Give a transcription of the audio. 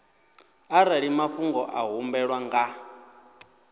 arali mafhungo a humbelwaho nga